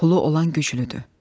Pulu olan güclüdür.